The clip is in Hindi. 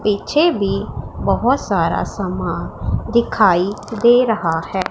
पीछे भी बहुत सारा सामान दिखाई दे रहा है।